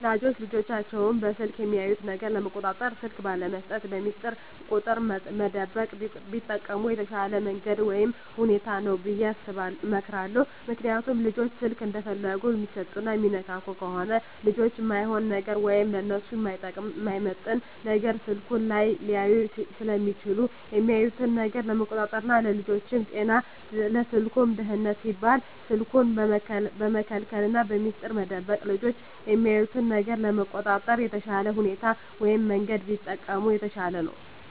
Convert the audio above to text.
ወላጆች ልጆቻቸውን በስልክ የሚያዩት ነገር ለመቆጣጠር ስልክ ባለመስጠት፣ በሚስጥር ቁጥር መደበቅ ቢጠቀሙ የተሻለ መንገድ ወይም ሁኔታ ነው ብየ እመክራለሁ። ምክንያቱም ልጆች ስልክ እንደፈለጉ የሚሰጡና የሚነካኩ ከሆነ ልጆች እማይሆን ነገር ወይም ለነሱ የማይመጥን ነገር ስልኩ ላይ ሊያዩ ስለሚችሉ የሚያዩትን ነገር ለመቆጣጠር ና ለልጆቹም ጤና ለስልኩም ደህንነት ሲባል ስልኩን በመከልከልና በሚስጥር መደበቅ ልጆች የሚያዩትን ነገር ለመቆጣጠር የተሻለ ሁኔታ ወይም መንገድ ቢጠቀሙ የተሻለ ነው።